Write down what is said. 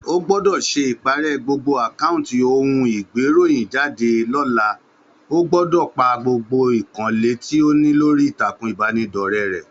Ó gbõdõ sé iparè gbogbo àkáunti ohun igberohinjade lōlao gbọ́dọ̀ pá gbogbo ìkànnlé tí ó ní lórí ìtàkùn ìbánidọ́rẹ́ rẹ.